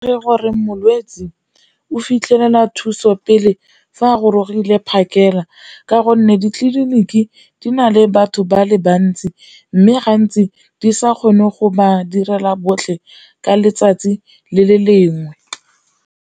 Ke gore molwetse o fitlhela thuso pele fa a gorogile phakela ka gonne ditleliniki di na le batho ba le bantsi, mme gantsi di sa kgone go ba direla botlhe ka letsatsi le le lengwe.